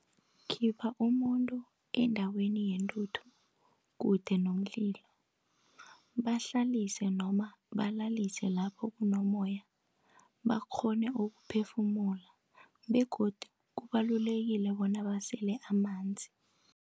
Khipha umuntu endaweni yentuthu kude nomlilo, bahlalise noma balalise lapho kunomoya bakghone ukuphefumula. Begodu kubalulekile bona basele amanzi.